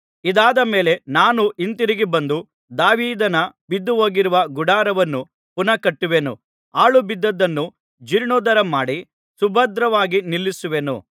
ಇದಾದ ಮೇಲೆ ನಾನು ಹಿಂತಿರುಗಿ ಬಂದು ದಾವೀದನ ಬಿದ್ದುಹೋಗಿರುವ ಗುಡಾರವನ್ನು ಪುನಃ ಕಟ್ಟುವೆನು ಪಾಳು ಬಿದ್ದದ್ದನ್ನು ಜೀರ್ಣೋದ್ಧಾರಮಾಡಿ ಸುಭದ್ರವಾಗಿ ನಿಲ್ಲಿಸುವೆನು